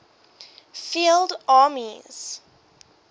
field armies